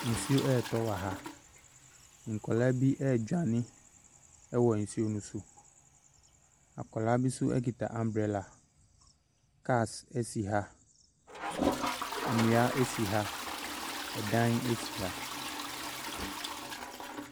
Nsuo retɔ wɔ ha. Nkwadaa bi redwane wɔ nsuo no so. Akwadaa bi nso kita umbrella. Cars si ha. Nnua si ha. Dan si ha.